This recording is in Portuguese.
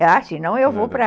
Ah, senão eu vou para...